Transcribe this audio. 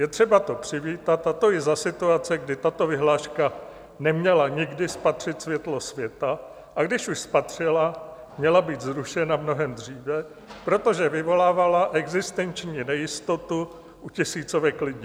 Je třeba to přivítat, a to i za situace, kdy tato vyhláška neměla nikdy spatřit světlo světa, a když už spatřila, měla být zrušena mnohem dříve, protože vyvolávala existenční nejistotu u tisícovek lidí.